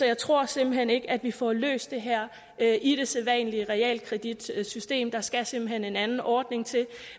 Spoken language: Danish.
jeg tror simpelt hen ikke at vi får løst det her i det sædvanlige realkreditsystem der skal simpelt hen en anden ordning til